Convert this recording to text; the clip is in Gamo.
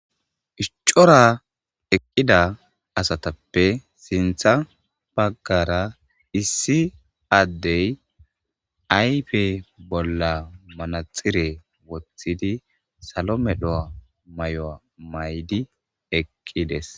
iscora eqqida asatappe sintha baggara issi addey ayfe bolla manaxire wothidi salome do7a may7oa maydi eqqides